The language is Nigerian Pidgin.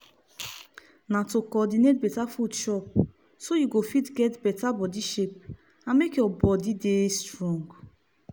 na to cordinate better food chop so you go fit get better body shape and make your body dey strong.